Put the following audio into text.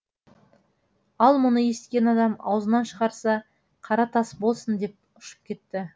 ал мұны есіткен адам аузынан шығарса қара тас болсын деп ұшып кетті